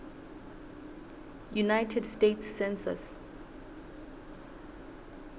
united states census